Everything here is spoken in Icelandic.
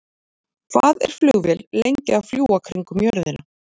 Hvað er flugvél lengi að fljúga kringum jörðina?